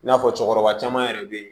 I n'a fɔ cɛkɔrɔba caman yɛrɛ be yen